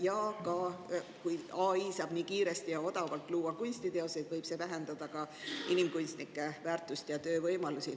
Ja ka see, et kui AI saab nii kiiresti ja odavalt kunstiteoseid luua, siis see võib vähendada inimkunstnike väärtust ja töövõimalusi.